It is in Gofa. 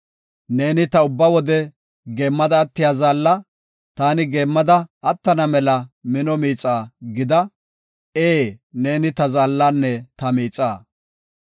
Neeni ta ubba wode geemmada attiya zaalla taani geemmada attana mela mino miixaa gida; ee, neeni ta zaallanne ta miixa.